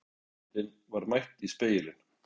Gamla sjálfsmyndin var mætt í spegilinn.